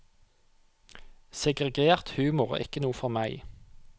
Segregert humor er ikke noe for meg.